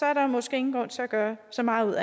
er der måske ingen grund til at gøre så meget ud